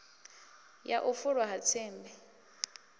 ya u fulwa ha tsimbi